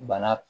Bana